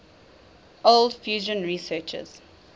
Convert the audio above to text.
cold fusion researchers